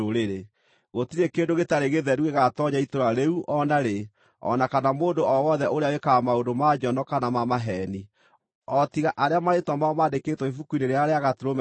Gũtirĩ kĩndũ gĩtarĩ gĩtheru gĩgaatoonya itũũra rĩu o narĩ, o na kana mũndũ o wothe ũrĩa wĩkaga maũndũ ma njono kana ma maheeni. O tiga arĩa marĩĩtwa mao mandĩkĩtwo ibuku-inĩ rĩrĩa rĩa Gatũrũme rĩa muoyo.